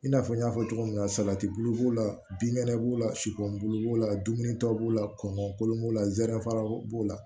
I n'a fɔ n y'a fɔ cogo min na salati bulu b'o la binkɛnɛ b'o la sipu bulu b'o la dumunitɔw b'o la kɔngɔ kolon b'o la zɛrɛn faraw b'o la